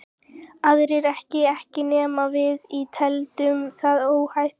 Aðrir ekki ekki nema við teldum það óhætt.